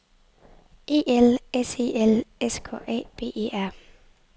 E L S E L S K A B E R